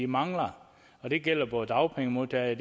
mangler og det gælder både dagpengemodtagere